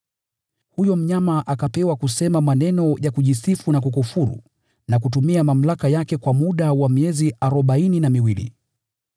Huyo mnyama akapewa kusema maneno ya kiburi na kukufuru na kutumia mamlaka yake kwa muda wa miezi arobaini na miwili.